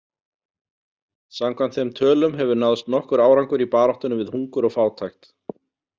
Samkvæmt þeim tölum hefur náðst nokkur árangur í baráttunni við hungur og fátækt.